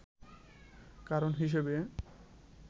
কারণ হিসেবে